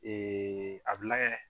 a bila kɛ.